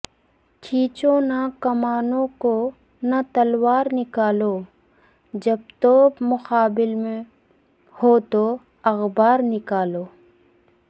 کھینچو نہ کمانوں کو نہ تلوار نکالو جب تو پ مقابل ہو تو اخبار نکالو